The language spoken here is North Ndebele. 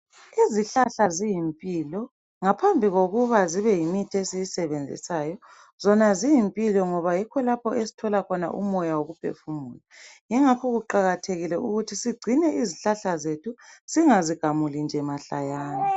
Izihlahla ziyimpilo ngaphambi kokuba zibe yimithi esiyisebenzisayo zona ziyimpilo ngoba yikho lapho esthola khona umoya wokuphefumula , ingakho kuqakathekile ukuthi sigcine izihlahla zethu zingazigamuli nje mahlayana